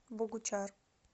богучар